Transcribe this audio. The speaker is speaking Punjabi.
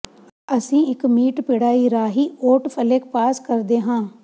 ਅਸੀਂ ਇੱਕ ਮੀਟ ਪਿੜਾਈ ਰਾਹੀਂ ਓਟ ਫਲੇਕ ਪਾਸ ਕਰਦੇ ਹਾਂ